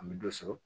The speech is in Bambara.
An bɛ dɔ sɔrɔ